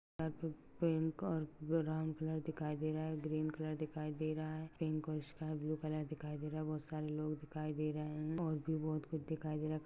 Pink और brown colour दिखाई दे रहा है। ग्रीन कलर दिखाई दे रहा है। पिंक और स्कायब्लू कलर दिखाई दे रहा है। बहुत सारे लोग दिखाई दे रहे है और भी बहुत कुछ दिखाई दे रहा है।